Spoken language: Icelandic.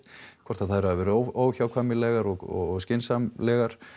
hvort að þær hafi verið óhjákvæmilega og skynsamlegar